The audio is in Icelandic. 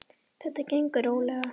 Þetta gengur rólega.